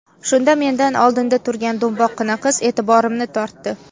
Shunda mendan oldinda turga do‘mboqqina qiz e’tiborimni tortdi.